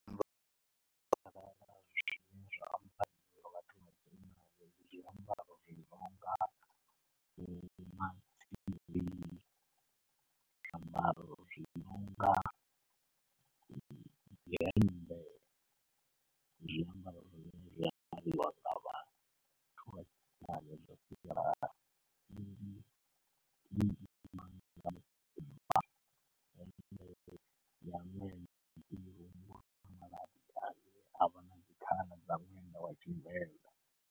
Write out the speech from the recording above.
Zwine zwa ambariwa ndi zwiambaro zwi nonga zwiambaro zwi nonga zwiambaro zwi nonga dzi hemmbe, Tshivenḓa.